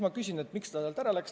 Ma küsisin, miks ta sealt ära läks.